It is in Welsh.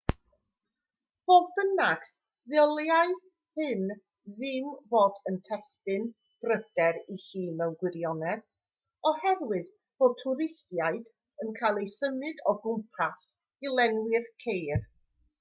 fodd bynnag ddylai hyn ddim bod yn destun pryder i chi mewn gwirionedd oherwydd bod twristiaid yn cael eu symud o gwmpas i lenwi'r ceir